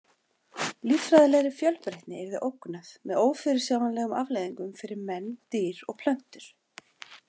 Líffræðilegri fjölbreytni yrði ógnað með ófyrirsjáanlegum afleiðingum fyrir menn, dýr og plöntur.